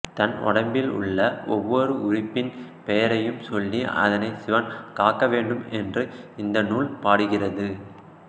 தன் உடம்மிலுள்ள ஒவ்வொரு உறுப்பின் பெயரையும் சொல்லி அதனைச் சிவன் காக்கவேண்டும் என்று இந்த நூல் பாடுகிறது